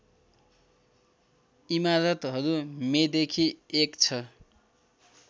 इमारतहरू मेदेखि एक छ